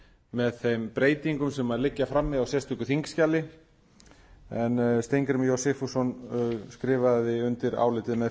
með þeim breytingum sem liggja frammi á sérstöku þingskjali en steingrímur j sigfússon skrifaði undir álitið með